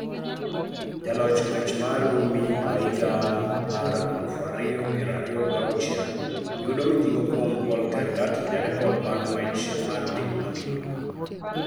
Jaloch ng'wech mar Rumi ma higa mar alufu ariyo piero ariyo giachuel, yudo mijing'o kuom Paul Tergat, jarekod mar ng'wech mar piny mangima.